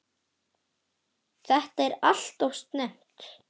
Þetta er alltof snemmt.